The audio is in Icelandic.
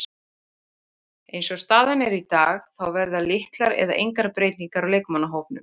Eins og staðan er í dag þá verða litlar eða engar breytingar á leikmannahópnum.